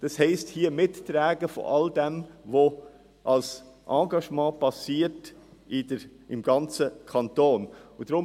Das heisst, man soll mittragen, was hier an Engagement im ganzen Kanton geleistet wird.